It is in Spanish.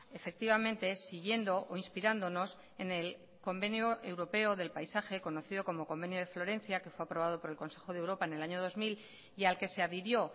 efectivamente siguiendo o inspirándonos en el convenio europeo del paisaje conocido como convenio de florencia que fue aprobado por el consejo de europa en el año dos mil y al que se adhirió